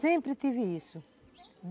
Sempre tive isso.